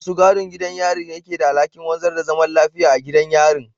Masu gadin gidan yari ne ke da alhakin wanzar da zaman lafiya a gidan yarin